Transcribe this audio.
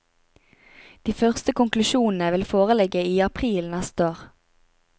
De første konklusjonene vil foreligge i april neste år.